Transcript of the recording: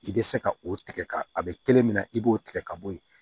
I bɛ se ka o tigɛ ka a bɛ kelen min na i b'o tigɛ ka bɔ yen